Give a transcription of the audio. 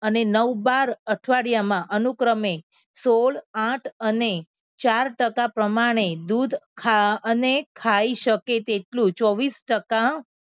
અને નવ બાર અઠવાડિયામાં અનુક્રમે સોળ આઠ અને ચાર ટકા પ્રમાણે દૂધ ખા અને ખાઈ શકે તેટલું ચોવીસ ટકા